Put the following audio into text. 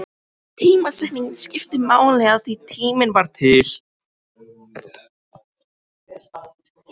Tímasetningin skipti máli, af því tíminn var til.